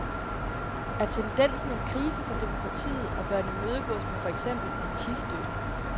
Er tendensen en krise for demokratiet, og bør den imødegås med for eksempel partistøtte?